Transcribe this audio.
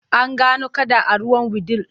An gano kada a ruwan Wudil.